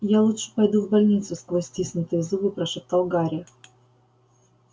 я лучше пойду в больницу сквозь стиснутые зубы прошептал гарри